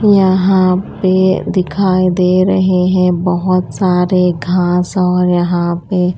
यहां पे दिखाई दे रहे हैं बहोत सारे घास और यहां पे--